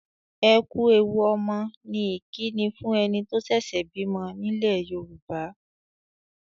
"Ẹ ku ewu ọmọ" ni ìkíni fún ẹni tó ṣẹ̀ṣẹ̀ bímọ nílẹ̀ Yorùbá.